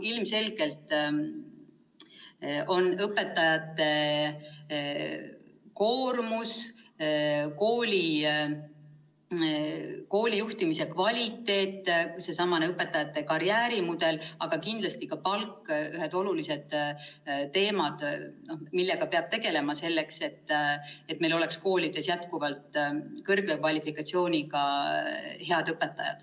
Ilmselgelt on need kõik – õpetajate koormus, koolijuhtimise kvaliteet, seesama õpetajate karjäärimudel ja kindlasti ka palk – olulised teemad, millega peab tegelema, selleks et meil oleks koolides jätkuvalt kõrge kvalifikatsiooniga head õpetajad.